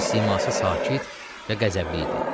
Onun siması sakit və qəzəbli idi.